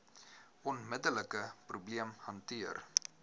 onmiddelike probleem hanteer